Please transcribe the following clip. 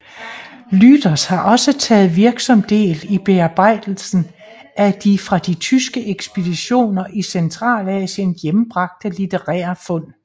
Lüders har også taget virksom del i bearbejdelsen af de fra de tyske ekspeditioner i Centralasien hjembragte litterære fund